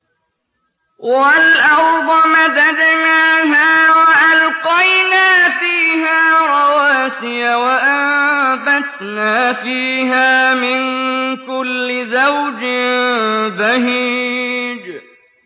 وَالْأَرْضَ مَدَدْنَاهَا وَأَلْقَيْنَا فِيهَا رَوَاسِيَ وَأَنبَتْنَا فِيهَا مِن كُلِّ زَوْجٍ بَهِيجٍ